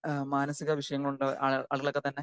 speaker 2 മാനസിക വിഷമം കൊണ്ട് അതുപോലേക്കെത്തന്നെ